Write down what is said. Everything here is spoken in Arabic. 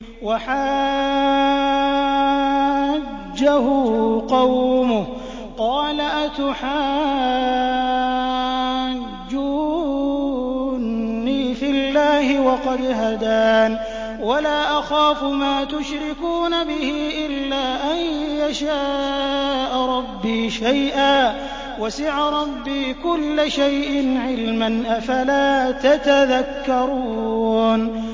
وَحَاجَّهُ قَوْمُهُ ۚ قَالَ أَتُحَاجُّونِّي فِي اللَّهِ وَقَدْ هَدَانِ ۚ وَلَا أَخَافُ مَا تُشْرِكُونَ بِهِ إِلَّا أَن يَشَاءَ رَبِّي شَيْئًا ۗ وَسِعَ رَبِّي كُلَّ شَيْءٍ عِلْمًا ۗ أَفَلَا تَتَذَكَّرُونَ